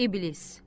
İblis.